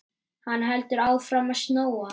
Hann heldur áfram að snjóa.